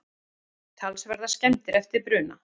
Talsverðar skemmdir eftir bruna